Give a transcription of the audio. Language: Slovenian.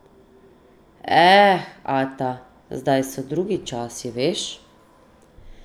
Eh, ata, zdaj so drugi časi, veš.